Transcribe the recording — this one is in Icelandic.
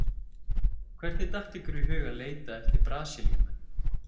Hvernig datt ykkur í hug að leita eftir Brasilíumönnum?